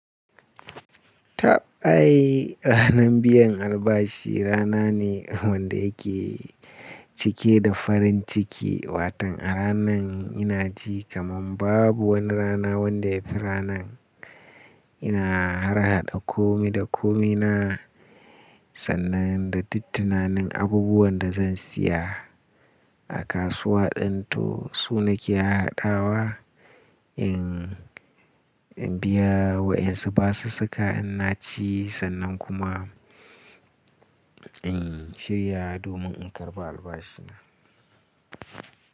Ta ai ranan biyan albashi rana ne wanda yake cike da farin ciki. Watan a ranan ina ji kaman babu wani rana wanda ya fi ranan. Ina harhaɗa komi da komina, sannan da dittunanin abubuwan da zan siya a kasuwa danto sunan ke hadawa. In biya wayansu basu saka in na ci, sannan kuma in shirya domin in karɓa albashina.